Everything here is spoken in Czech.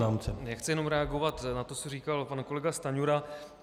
Já chci jenom reagovat na to, co říkal pan kolega Stanjura.